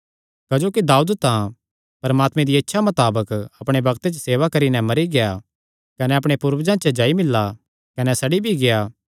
क्जोकि दाऊद तां परमात्मे दिया इच्छा मताबक अपणे बग्ते च सेवा करी नैं मरी गेआ कने अपणे पूर्वजां च जाई मिल्ला कने सड़ी भी गेआ